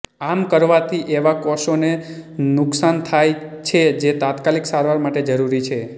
આમ કરવાથી એવા કોષોને નુકસાન થાય છે જે તાત્કાલિક સારવાર માટે જરુરી છે